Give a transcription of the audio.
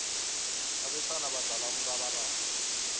abesana badlala umrabaraba